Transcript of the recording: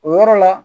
O yɔrɔ la